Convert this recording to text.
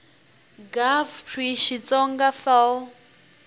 gov pri xitsonga fal p